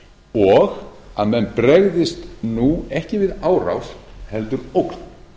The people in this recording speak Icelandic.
og að menn bregðist nú ekki við árás heldur ógn